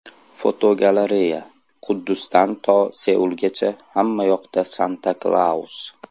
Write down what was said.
Fotogalereya: Quddusdan to Seulgacha hammayoqda Santa-Klaus!.